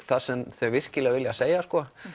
það sem þau virkilega vilja segja að